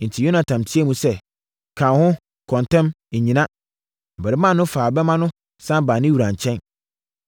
Enti, Yonatan teaam sɛ, “Ka wo ho! Kɔ ntɛm! Nnyina.” Abarimaa no faa bɛmma no sane baa ne wura nkyɛn.